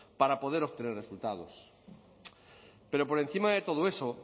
para poder obtener resultados pero por encima de todo eso